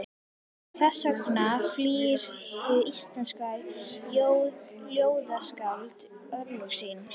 Og þess vegna flýr hið íslenska ljóðskáld örlög sín.